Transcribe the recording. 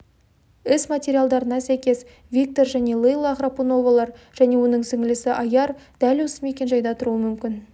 іс материалдарына сәйкес виктор және лейла храпуновалар және оның сіңлісі айяр дәл осы мекенжайда тұруы мүмкін